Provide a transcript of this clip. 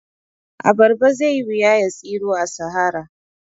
A barba zaiyi wuya ya tsiro a sahara